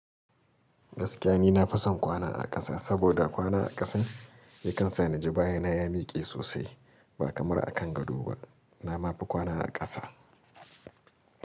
Gaskiya ni na fi son kwana a ƙasa saboda kwana a ƙasan yakan sa ni ji baya na ya miƙe sosai ba kamar a kan gado ba. Na ma fi kwana a ƙasa.